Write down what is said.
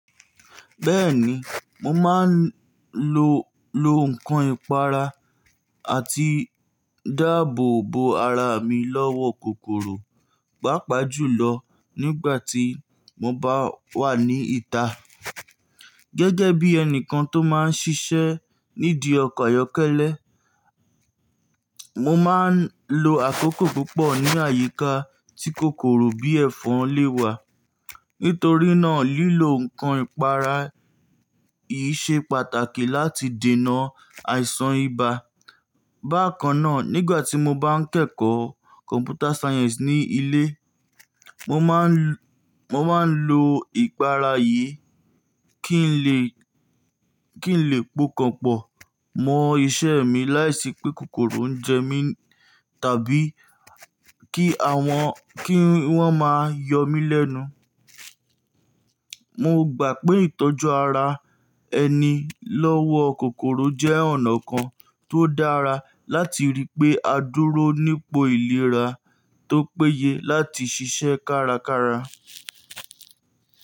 Bẹ́ẹ̀ni, mo máa ń lo, lo nǹkan ìpara àti dáàbò bo ara mi lọ́wọ́ kòkòrò, pàápàá jùlọ nígbà tí mo bá wà ní ìta. Gẹ́gẹ́ bí ẹni kan tó máa ń ṣiṣẹ́ nídìí ọkọ̀ ayọ́kẹ́lẹ́, mo máa ń lo àkókò púpọ̀ ní àyíká tí kòkòrò bí ẹ̀fọn le wà. Nítorí náà, lílo nǹkan ìpara yìí ṣe pàtàkì láti dènà àìsàn ibà. Bákan náà, nígbà tí mo bá ń kẹ́kọ̀ọ́ Computer Science ní ilé, mo máa ń, mo máa ń lo ìpara yìí kí n lè, kí n lè pokànpọ̀ mọ iṣẹ́ mi láìsí pé kòkòrò ń jẹ mí tàbí kí àwọn, kí wọ́n máa yọ mí lẹ́nu. Mo gbà pé ìtọ́jú ara ẹni lọ́wọ́ kòkòrò jẹ́ ọ̀nà kan tó dára láti rí pé a dúró nípò ìlera tó péye láti ṣiṣẹ́ kárakára.